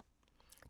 DR1